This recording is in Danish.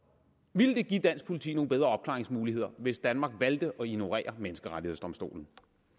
ville det give dansk politi nogle bedre opklaringsmuligheder hvis danmark valgte at ignorere menneskerettighedsdomstolens